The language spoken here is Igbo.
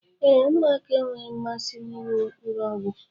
Ee, ụmụaka enweghị mmasị na ịṅụ mkpụrụ ọgwụ